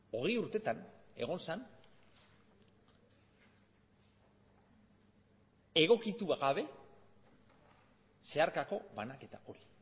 hogei urtetan egon zen egokitu gabe zeharkako banaketa hori